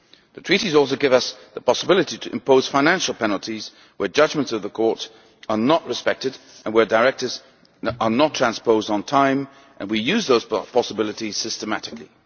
The Treaties also give us the possibility to impose financial penalties where judgements of the court are not respected and where directives are not transposed on time, and we use those possibilities systematically.